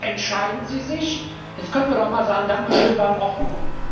Jetzt entscheiden sie sich, jetzt könnte man doch auch mal sagen Dankeschön, das war in Ordnung.